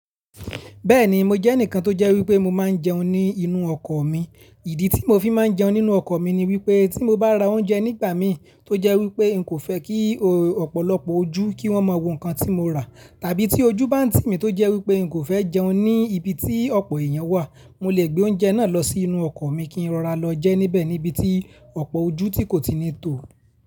Bẹ́ẹ̀ni, mo jẹ́ ẹnìkan tó jẹ́ wípé mo máa ń jẹun ní inú ọkọ̀ mi. Ìdí tí mo fi máa ń jẹun nínú ọkọ̀ mi ni wípé tí mo bá ra oúnjẹ nígbà mi tó jẹ́ wípé n kò fẹ́ kí ọ̀pọ̀lọpọ̀ ojú kí wón máa wo nǹkan tí mo rà, tàbí tí ojú bá ń tì mí tó jẹ́ wípé n kò fẹ́ jẹun ní ibi tí ọ̀pọ̀ èèyàn wà, mo lè gbé oúnjẹ náà lọ sí inú ọkọ̀ mi kí n rọra lọ jẹ́ níbẹ̀ níbi tí ọ̀pọ̀ ojú tí kò ti ní tó.